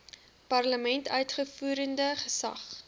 parlement uitvoerende gesag